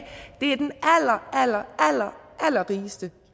det er den allerallerrigeste